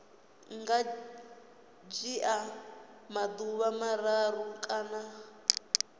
nga dzhia maḓuvha mararu kana